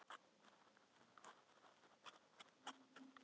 Bárður þorir ekki að gera út á síld, sagði pabbi.